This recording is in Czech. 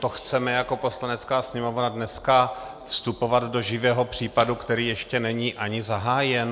To chceme jako Poslanecká sněmovna dnes vstupovat do živého případu, který ještě není ani zahájen?